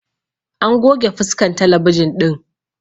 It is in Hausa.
An goge fuskan talabijin ɗin